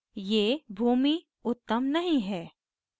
ये भूमि उत्तम नहीं है